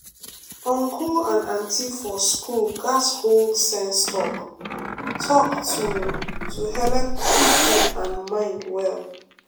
uncle and auntie for school gats hold sense talk-talk to to helep keep head and mind well.